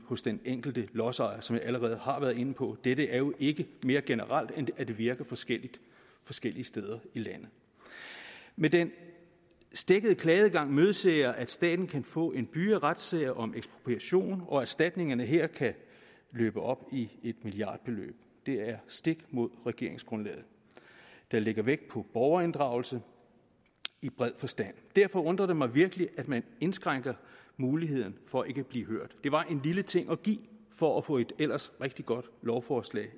hos den enkelte lodsejer som jeg allerede har været inde på dette er jo ikke mere generelt end at det virker forskelligt forskellige steder i landet med den stækkede klageadgang imødeser jeg at staten kan få en byge af retssager om ekspropriation og at erstatningerne her kan løbe op i et milliardbeløb det er stik imod regeringsgrundlaget der lægger vægt på borgerinddragelse i bred forstand derfor undrer det mig virkelig at man indskrænker muligheden for at blive hørt det var en lille ting at give for at få et ellers rigtig godt lovforslag